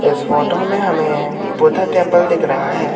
इस फोटो में हमें बुद्धा टेंपल दिख रहा है।